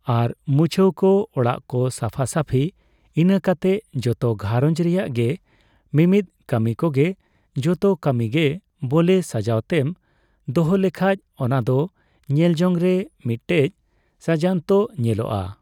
ᱟᱨ ᱢᱩᱪᱷᱟᱹᱣ ᱠᱚ ᱚᱲᱟᱜᱠᱚ ᱥᱟᱯᱷᱟ ᱥᱟᱹᱯᱷᱤ ᱤᱱᱟᱹ ᱠᱟᱛᱮᱜ ᱡᱚᱛᱚ ᱜᱷᱟᱨᱚᱧ ᱨᱮᱭᱟᱜᱜᱮ ᱢᱤᱢᱤᱫ ᱠᱟᱹᱢᱤ ᱠᱚᱜᱮ ᱡᱚᱛᱚ ᱠᱟᱹᱢᱤᱜᱮ ᱵᱚᱞᱮ ᱥᱟᱣᱦᱟᱛᱮᱢ ᱫᱚᱦᱚᱞᱮᱠᱷᱟᱡ ᱚᱱᱟᱫᱚ ᱧᱮᱞᱡᱚᱝ ᱨᱮ ᱢᱤᱫᱴᱮᱡ ᱥᱟᱡᱟᱱᱛᱚ ᱧᱮᱞᱚᱜᱼᱟ ᱾